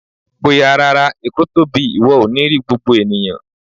Bóyá rárá, Èkó tóbi, ìwọ ò ní rí gbogbo ènìyàn.